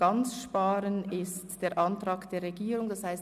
«Ganz sparen» entspricht dem Antrag des Regierungsrats.